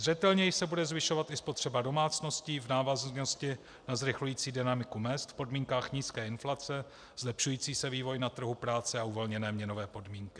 Zřetelněji se bude zvyšovat i spotřeba domácností v návaznosti na zrychlující dynamiku mezd v podmínkách nízké inflace, zlepšující se vývoj na trhu práce a uvolněné měnové podmínky.